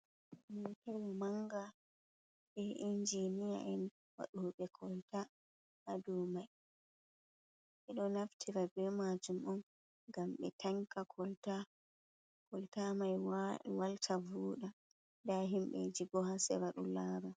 Mootawa mannga bee injiniya'en waɗoobe kolta haa dow mai, ɓe ɗo naftira bee maajum om ngam ɓe tanka kolta mai walta vooɗa ndaa himɓeeji boo haa sera ɗo laara.